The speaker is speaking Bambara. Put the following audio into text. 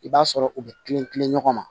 I b'a sɔrɔ u bɛ kilen kilen ɲɔgɔn ma